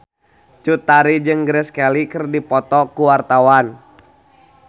Cut Tari jeung Grace Kelly keur dipoto ku wartawan